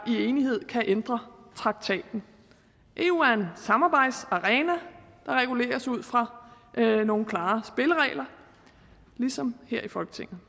i enighed kan ændre traktaten eu er en samarbejdsarena der reguleres ud fra nogle klare spilleregler ligesom her i folketinget